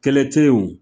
Kɛlɛ te ye o